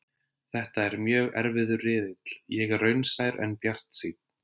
Þetta er mjög erfiður riðill, ég er raunsær en bjartsýnn.